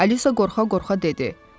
Alisa qorxa-qorxa dedi.